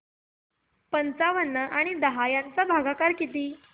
पंचावन्न आणि दहा चा भागाकार किती